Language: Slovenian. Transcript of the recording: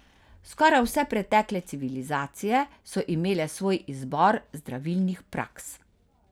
Skoraj vse pretekle civilizacije so imele svoj izbor zdravilnih praks.